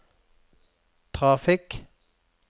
trafikk